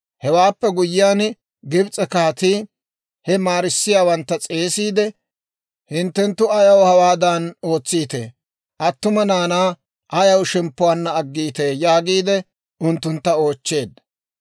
Hewaappe guyyiyaan Gibs'e kaatii he maarissiyaawantta s'eesiide, «Hinttenttu ayaw hawaadan ootsiitee? Attuma naanaa ayaw shemppuwaanna aggiitee?» yaagiide unttuntta oochcheedda.